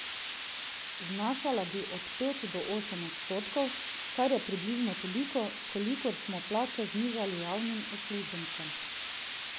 Znašala bi od pet do osem odstotkov, kar je približno toliko, kolikor smo plače znižali javnim uslužbencem.